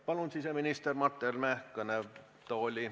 Palun siseminister Mart Helme kõnetooli.